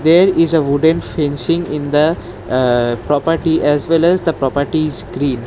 There is a wooden fencing in the aa property as well as the property is green.